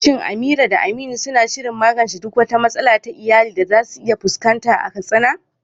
Shin Amira da Aminu suna shirin magance duk wata matsala ta iyali da za su iya fuskanta a Katsina?